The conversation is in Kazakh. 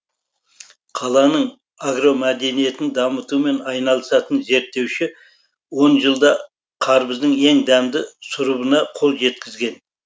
қаланың агромәдениетін дамытумен айналысатын зерттеуші он жылда қарбыздың ең дәмді сұрыбына қол жеткізген